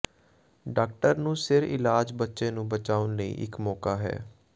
doctor ਨੂੰ ਸਿਰ ਇਲਾਜ ਬੱਚੇ ਨੂੰ ਬਚਾਉਣ ਲਈ ਇੱਕ ਮੌਕਾ ਹੈ